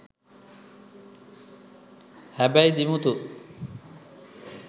හැබැයි දිමුතු